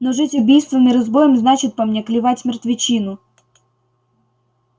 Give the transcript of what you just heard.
но жить убийством и разбоем значит по мне клевать мертвечину